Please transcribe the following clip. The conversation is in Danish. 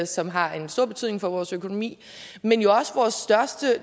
som har en stor betydning for vores økonomi men jo også